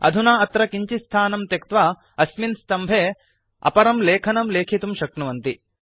अधुना अत्र किञ्चित् स्थानं त्यक्त्वा अस्मिन् स्तम्भे अपरं लेखनं लेखितुं शक्नुवन्ति